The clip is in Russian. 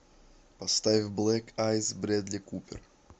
поставь блэк айз брэдли купер